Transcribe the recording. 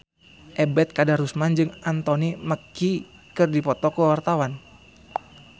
Ebet Kadarusman jeung Anthony Mackie keur dipoto ku wartawan